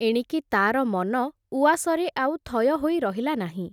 ଏଣିକି ତା’ର ମନ, ଉଆସରେ ଆଉ ଥୟ ହୋଇ ରହିଲା ନାହିଁ ।